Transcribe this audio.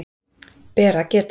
Ber að geta